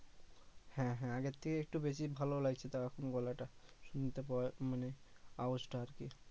হ্যা হ্যা আগের থেকে একটু বেশি ভালো লাগছে তাও এখন গলাটা শুনতে পাওয়ায় মানে আওয়াজটা আরকি